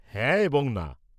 -হ্যাঁ এবং না।